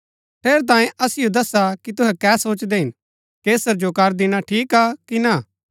ठेरैतांये असिओ दस्सा की तुहै कै सोचदै हिन कैसर जो कर दिणा ठीक हा कि ना